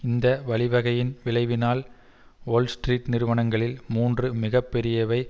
இந்த வழிவகையின் விளைவினால் வோல்ஸ்ட்ரீட் நிறுவனங்களில் மூன்று மிக பெரியவை